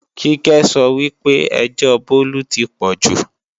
Kíkẹ́ sọ wí pé ẹjọ́ Bólú ti pọ̀jù